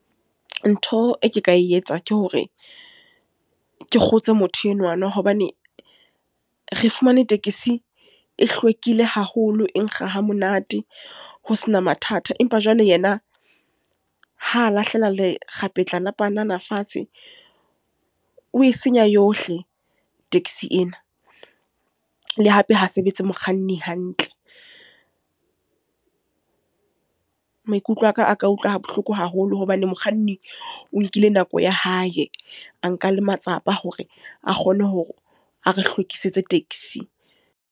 Ntho e ke ka e etsa, ke hore ke kgotse motho enwana. Hobane re fumane tekesi e hlwekile haholo, e nkga hamonate. Ho sena mathata. Empa jwale yena, ha lahlela lekgapetla la panana fatshe, o e senya yohle taxi ena. Le hape ha sebetse mokganni hantle. Maikutlo aka a ka utlwa bohloko haholo hobane mokganni, o nkile nako ya hae a nka le matsapa a hore a kgone hore a re hlwekisitse taxi.